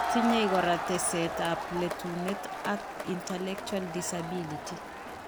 Tinye kora teseet ab letuneet ak intellectul disability